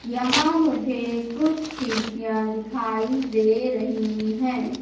यहां मुझे कुछ खिड़कियां दिखाई दे रही हैं।